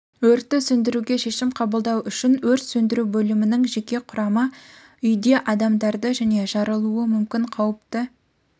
өртті сөндіруге шешім қабылдау үшін өрт сөндіру бөлімінің жеке құрамы үйде адамдарды және жарылуы мүмкін қауіпті